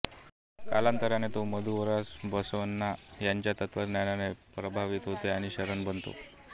कालांतराने तो मधुवरस बसवण्णा यांच्या तत्त्वज्ञानाने प्रभावित होतो आणि शरण बनतो